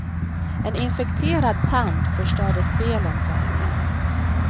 En infekterad tand förstörde spelen för henne.